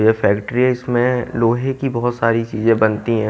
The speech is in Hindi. यह फैक्ट्री है इसमें लोहे की बहुत सारी चीजें बनती हैं।